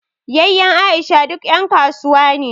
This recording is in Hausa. Yayyen Aisha duk ƴan kasuwa ne